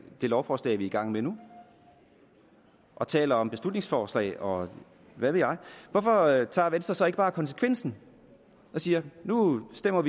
det lovforslag vi er i gang med nu og taler om beslutningsforslag og hvad ved jeg hvorfor tager venstre så ikke bare konsekvensen og siger at nu stemmer